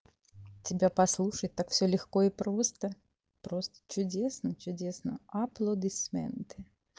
тебя послушать так все лёгко и просто просто чудесно чудесно аплодисменты